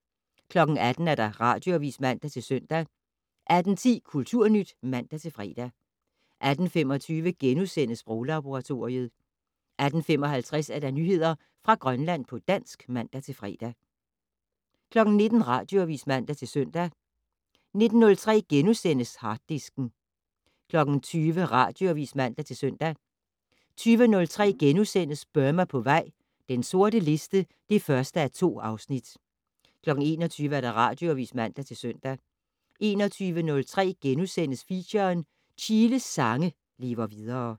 18:00: Radioavis (man-søn) 18:10: Kulturnyt (man-fre) 18:25: Sproglaboratoriet * 18:55: Nyheder fra Grønland på dansk (man-fre) 19:00: Radioavis (man-søn) 19:03: Harddisken * 20:00: Radioavis (man-søn) 20:03: Burma på vej - den sorte liste (1:2)* 21:00: Radioavis (man-søn) 21:03: Feature: Chiles sange lever videre *